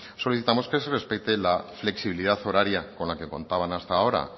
solicitamos que se respete la flexibilidad horaria con la que contaban hasta ahora